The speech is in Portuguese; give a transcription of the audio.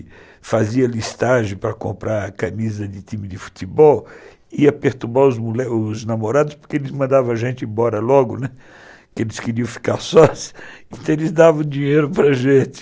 E fazia listagem para comprar camisa de time de futebol, ia perturbar os namorados, porque eles mandavam a gente embora logo, porque eles queriam ficar sós, então eles davam dinheiro para a gente